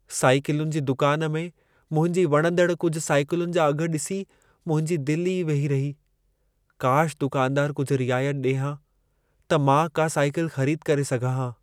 साइकिलुनि जी दुकान में मुंहिंजी वणंदड़ कुझु साइकिलुनि जा अघ ॾिसी मुंहिंजी दिल ई वेही रही। काश दुकानदार कुझु रियायत ॾिए हा, त मां का साइकल ख़रीद करे सघां हा।